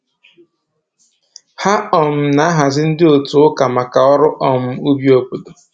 Ha um na-ahazi ndị otu ụka maka ọrụ um ubi obodo